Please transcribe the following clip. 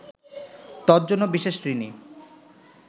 তজ্জন্য বিশেষ ঋণী